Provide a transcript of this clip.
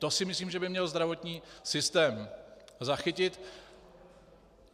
To si myslím, že by měl zdravotní systém zachytit.